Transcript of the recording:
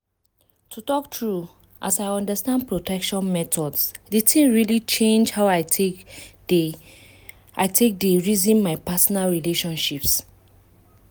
to talk true as i understand protection methods the thing really change how i take dey i take dey reason my personal relationships